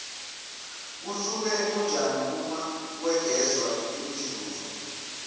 kusuke kunjani uma kwegezwa imizuzu